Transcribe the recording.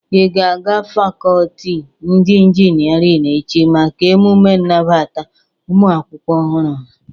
Ị ga-aga fakọlti ndị inginerin echi maka emume nabata ụmụ akwụkwọ ọhụrụ ha?